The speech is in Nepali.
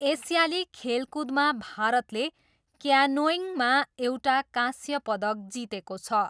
एसियाली खेलकुदमा भारतले क्यानोइङमा एउटा काँस्य पदक जितेको छ।